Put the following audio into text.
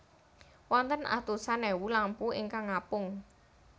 Wonten atusan èwu lampu ingkang ngapung